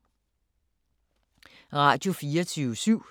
Radio24syv